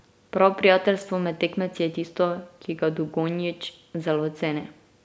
Prav prijateljstvo med tekmeci je tisto, ki ga Dugonjić zelo ceni.